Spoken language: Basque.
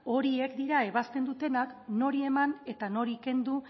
horiek dira ebazten dutenak nori eman eta nori kendu